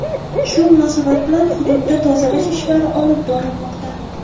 Shu munosabat bilan hududda tozalash ishlari olib borilmoqda.